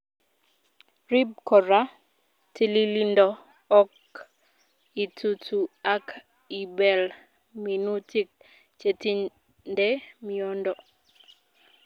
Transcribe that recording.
Rip kora tililindo ok itutu ak ibel minutik chetinde miondo.